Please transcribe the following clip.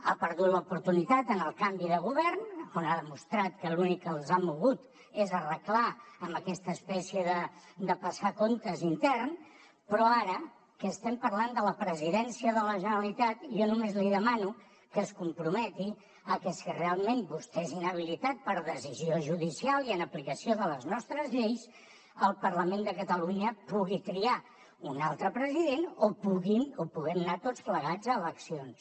ha perdut l’oportunitat en el canvi de govern on ha demostrat que l’únic que els ha mogut és arreglar amb aquesta espècie de passar comptes intern però ara que estem parlant de la presidència de la generalitat jo només li demano que es comprometi a que si realment vostè és inhabilitat per decisió judicial i en aplicació de les nostres lleis el parlament de catalunya pugui triar un altre president o puguin o puguem anar tots plegats a eleccions